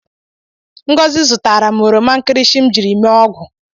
Ngozi zụtara m oromankirisi m jiri mee ogwu